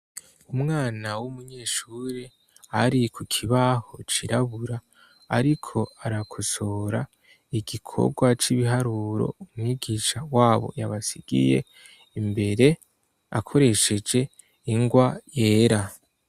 Umwana w'umunyeshuri ari ku kibaho cirabura ariko arakosora igikorwa c'ibiharuro umwigisha wabo yabasigiye imbere akoresheje ingwa yera.